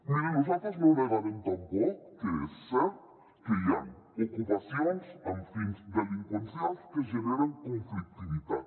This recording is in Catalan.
mirin nosaltres no negarem tampoc que és cert que hi han ocupacions amb fins delinqüencials que generen conflictivitat